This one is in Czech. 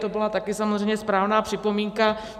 To byla taky samozřejmě správná připomínka.